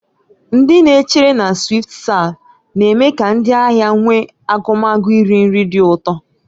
Ndị na-echere na "SwiftServe" na-eme ka ndị ahịa nwee ahụmahụ iri nri dị ụtọ.